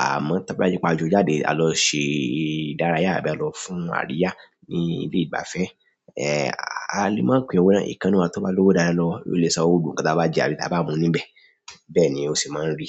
Àmọ́ to bá jẹ pa a jọ jáde, a lọ ṣe ìdárayá àbí a lọ fún àríyá ní ilé ìgbafẹ́, a lè máa pín owó náà. Ikan nínú wa toba lowo lowo o le sanwó gbogbo nkan ti a ba jẹ àbí ti a ba mu níbẹ̀. Bẹ́ẹ̀ ni ó ṣe máa ń rí.